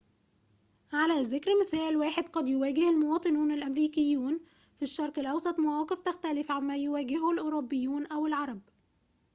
على ذكر مثال واحد قد يواجه المواطنون الأمريكيون في الشرق الأوسط مواقف تختلف عما يواجهه الأوروبيون أو العرب